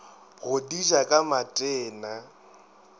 go di ja ka matena